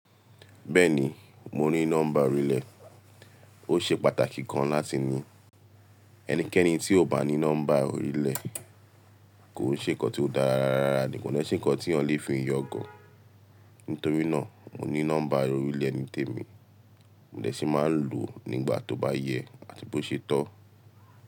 Bẹ́ẹ̀ni, mo ní nọ́mbà orílẹ̀, ó ṣe pàtàkì gan láti ní. Ẹnikẹ́ni tí ò bá ní nọ́mbà orílẹ̀ kò koo ṣe nǹkan tí ó dára rara rara, ni kò dè ṣe nǹkan tí eeyan lè fi yangan. Nítorí náà, mo ní nọ́mbà orílẹ̀ ni tèmi, mo dè ṣì máa lò ó nígbà tó bá yẹ àti bó ṣe tọ́.